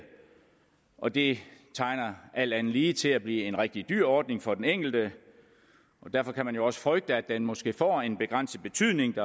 og det tegner alt andet lige til at blive en rigtig dyr ordning for den enkelte og derfor kan man jo også frygte at den måske får en begrænset betydning